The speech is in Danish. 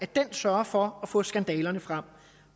den sørger for at få skandalerne frem